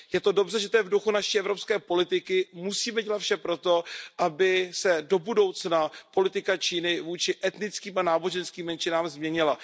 Je dobře, že to je v duchu naší evropské politiky, musíme dělat vše pro to, aby se do budoucna politika Číny vůči etnickým a náboženským menšinám změnila.